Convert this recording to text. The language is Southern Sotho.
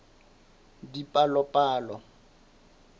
dipalopalo